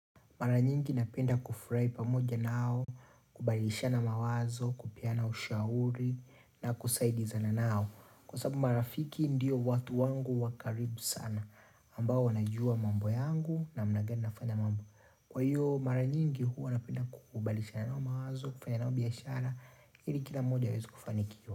Mara nyingi napenda kufurahi pamoja nao, kubadilishana mawazo, kupeana ushauri na kusaidizana nao. Kwa sababu marafiki ndiyo watu wangu wakaribu sana ambao wanajua mambo yangu namna gani nafanya mambo. Kwa hiyo mara nyingi huwa napenda kubadilishana mawazo, kufanya nao biashara, ili kila mmoja aweze kufanikiwa.